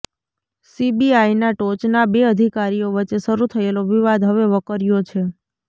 સીબીઆઈના ટોચના બે અધિકારીઓ વચ્ચે શરૂ થયેલો વિવાદ હવે વકર્યો છે